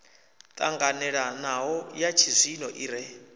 ṱanganelanaho ya tshizwino i re